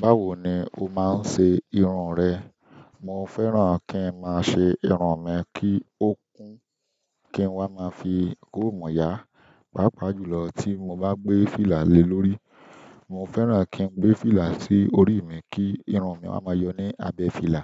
Báwo ni o máa ń ṣe irun rẹ? Mo fẹ́ràn kí n máa ṣe irun mi kí ó kún kí n wá máa fi kọ́mú yá, pàápàá jùlọ tí mo bá gbé fìlà le lórí. Mo fẹ́ràn kí n gbé fìlà sí orí mi kí irun mi wá máa yọ ní abẹ́ fìlà.